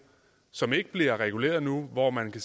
som ikke bliver reguleret nu hvor man